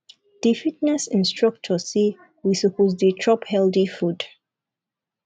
di fitness instructor say we suppose dey chop healthy food